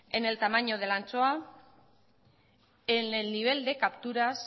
en el tamaño de la anchoa en el nivel de capturas